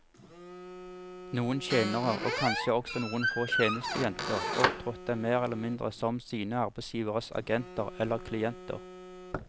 Noen tjenere, og kanskje også noen få tjenestejenter, opptrådte mer eller mindre som sine arbeidsgiveres agenter eller klienter.